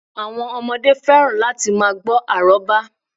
Àwọn ọmọdé fẹ́ràn láti ma gbọ́ àrọ́bá